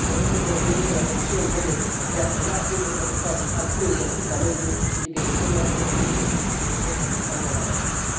Por eso, considero que la Comisión debe reaccionar haciendo que los Estados actúen conjuntamente y que defiendan el cumplimiento de sus compromisos como Estados de abanderamiento.